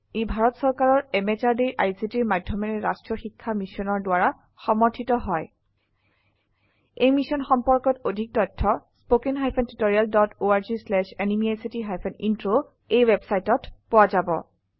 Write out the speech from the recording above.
ই ভাৰত চৰকাৰৰ MHRDৰ ICTৰ মাধয়মেৰে ৰাস্ত্ৰীয় শিক্ষা মিছনৰ দ্ৱাৰা সমৰ্থিত হয় এই মিশ্যন সম্পৰ্কত অধিক তথ্য spoken hyphen tutorial dot org slash এনএমইআইচিত হাইফেন ইন্ট্ৰ ৱেবচাইটত পোৱা যাব